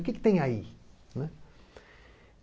O que que tem aí, né?